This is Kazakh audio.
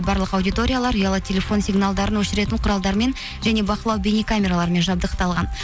барлық аудиториялар ұялы телефон сигналдарын өшіретін құралдар мен және бақылау бейнекамераларымен жабдықталған